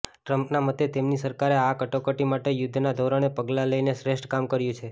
ટ્રમ્પના મતે તેમની સરકારે આ કટોકટી માટે યુદ્ધના ધોરણે પગલાં લઇને શ્રેષ્ઠ કામ કર્યું છે